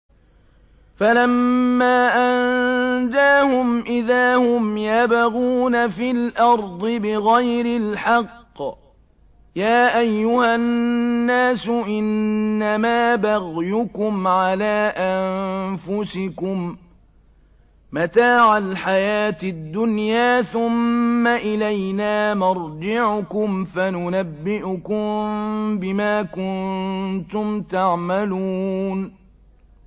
فَلَمَّا أَنجَاهُمْ إِذَا هُمْ يَبْغُونَ فِي الْأَرْضِ بِغَيْرِ الْحَقِّ ۗ يَا أَيُّهَا النَّاسُ إِنَّمَا بَغْيُكُمْ عَلَىٰ أَنفُسِكُم ۖ مَّتَاعَ الْحَيَاةِ الدُّنْيَا ۖ ثُمَّ إِلَيْنَا مَرْجِعُكُمْ فَنُنَبِّئُكُم بِمَا كُنتُمْ تَعْمَلُونَ